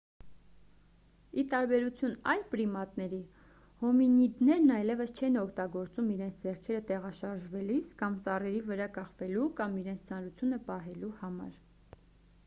ի տարբերություն այլ պրիմատների հոմինիդներն այլևս չեն օգտագործում իրենց ձեռքերը տեղաշարժվելիս կամ ծառերի վրա կախվելու կամ իրենց ծանրությունը պահելու համար